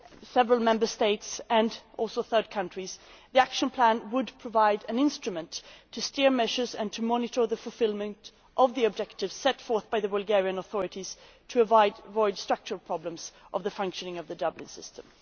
several Member States and also third countries the action plan would provide an instrument to steer the measures and monitor achievement of the objectives set out by the Bulgarian authorities, so as to avoid structural problems in the functioning of the Dublin system.